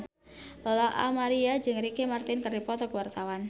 Lola Amaria jeung Ricky Martin keur dipoto ku wartawan